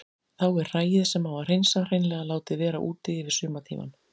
Þá er hræið sem á að hreinsa hreinlega látið vera úti yfir sumartímann.